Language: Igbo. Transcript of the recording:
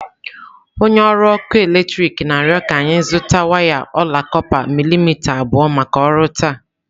Onye ọrụ ọkụ eletrik na-arịọ ka anyị zụta waya ọla kọpa milimita abụọ maka ọrụ taa.